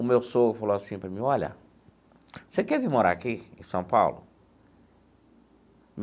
O meu sogro falou assim para mim, olha, você quer vir morar aqui em São Paulo?